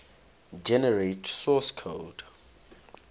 generate source code